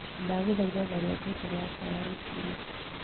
ndagũthaĩtha tharĩa ngengere yakwa ya rucĩĩni